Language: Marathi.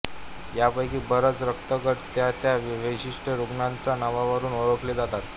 यापैकी बरेच रक्तगट त्या त्या विशिष्ट रुग्णाच्या नावावरून ओळखले जातात